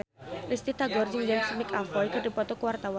Risty Tagor jeung James McAvoy keur dipoto ku wartawan